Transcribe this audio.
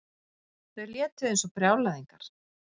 Þau létu eins og brjálæðingar.